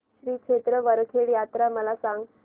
श्री क्षेत्र वरखेड यात्रा मला सांग